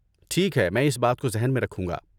ٹھیک ہے، میں اس بات کو ذہن میں رکھوں گا۔